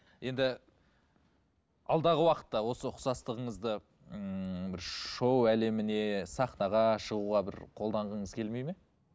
енді алдағы уақытта осы ұқсастығыңызды ыыы шоу әлеміне сахнаға шығуға бір қолданғыңыз келмейді ме